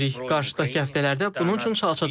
Qarşıdakı həftələrdə bunun üçün çalışacağıq.